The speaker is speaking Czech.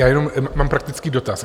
Já jenom mám praktický dotaz.